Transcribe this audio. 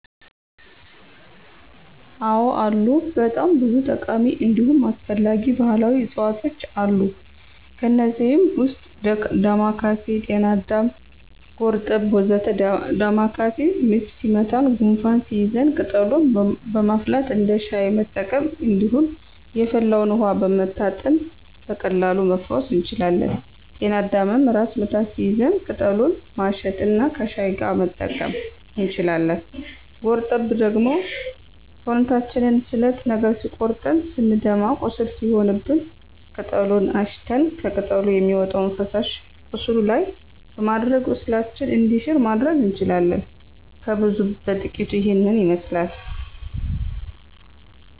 አዎ አሉ በጣም ብዙ ጠቃሚ እንዲሁም አስፈላጊ ባህላዊ እፅዋቶች አሉ። ከእነዚህም ውስጥ ዳማካሴ፣ ጤናአዳም፣ ጎርጠብ ወ.ዘ.ተ ዳማካሴ ምች ሲመታን ጉንፋን ሲይዘን ቅጠሉን በማፍላት እንደ ሻይ መጠቀም እንዲሁም የፈላውን ውሀ በመታጠን በቀላሉ መፈወስ እንችላለን። ጤና አዳምም ራስ ምታት ሲይዘን ቅጠሉን ማሽት እና ከሻይ ጋር መጠቀም እንችላለን። ጎርጠብ ደግሞ ሰውነታችንን ስለት ነገር ሲቆርጠን ስንደማ ቁስል ሲሆንብን ቅጠሉን አሽተን ከቅጠሉ የሚወጣውን ፈሳሽ ቁስሉ ላይ በማድረግ ቁስላችን እንዲሽር ማድረግ እንችላለን። ከብዙ በጥቂቱ ይሄንን ይመስላል።